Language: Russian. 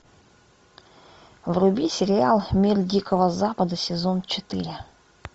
вруби сериал мир дикого запада сезон четыре